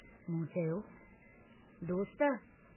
मूं चयो, दोस्त!